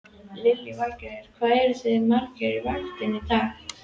Lillý Valgerður: Hvað eruð þið margir á vaktinni í dag?